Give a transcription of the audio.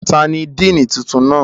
Tani Diini tuntun tuntun na?